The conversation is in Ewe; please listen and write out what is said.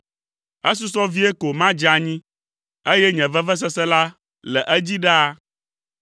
Esusɔ vie ko madze anyi, eye nye vevesese la le edzi ɖaa.